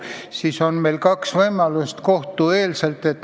Siis on meil kaks võimalust lahendada asi enne kohtusse minekut.